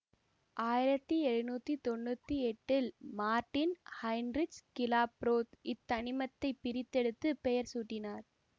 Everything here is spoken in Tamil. ஆயிரத்தி எழுநூற்றி தொன்னூற்தி எட்டில் மார்ட்டின் ஹைன்ரிஷ் கிலாப்ரோத் இத்தனிமத்தை பிரித்தெடுத்து பெயர் சூட்டினார்